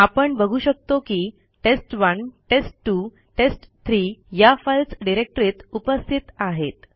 आपण बघू शकतो की टेस्ट1 टेस्ट2 टेस्ट3 या फाईल्स डिरेक्टरीत उपस्थित आहेत